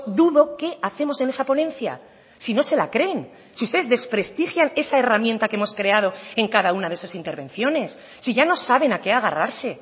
dudo qué hacemos en esa ponencia si no se la creen si ustedes desprestigian esa herramienta que hemos creado en cada una de sus intervenciones si ya no saben a qué agarrarse